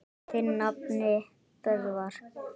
Þinn nafni, Böðvar.